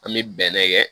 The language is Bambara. An bɛ bɛnɛ kɛ